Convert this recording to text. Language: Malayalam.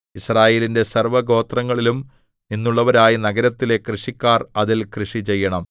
യിസ്രായേലിന്റെ സർവ്വഗോത്രങ്ങളിലും നിന്നുള്ളവരായ നഗരത്തിലെ കൃഷിക്കാർ അതിൽ കൃഷിചെയ്യണം